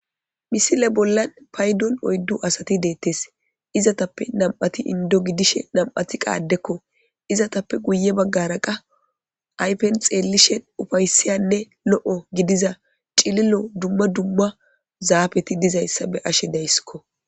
Misile bolla paydon oydu asati betete izzetappe nam'ati indo gidishin nam'ati adeko izzetappe guyebagara qase ayfen xelin lo'o gidiza cililo duma duma zafeti dizaysa beyashe daysiko